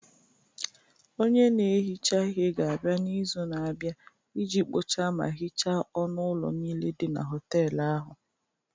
Onye na-ehicha ihe ga-abịa n'izu na-abịa iji kpochaa ma hichaa ọnụ ụlọ niile dị na họtel ahụ.